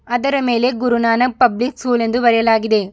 ಅದರ ಮೇಲೆ Guru Nanak Public School ಎಂದು ಬರೆಯಲಾಗಿದೆ.